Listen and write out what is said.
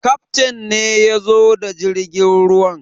Kaftain ne ya zo da jirgin ruwan.